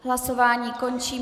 Hlasování končím.